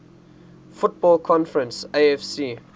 football conference afc